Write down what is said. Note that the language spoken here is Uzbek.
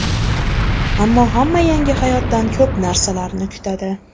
Ammo hamma yangi hayotdan ko‘p narsalarni kutadi.